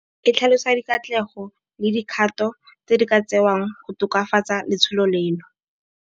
E tlhalosa dikatlego le dikgato tse di ka tsewang go tokafatsa letsholo leno.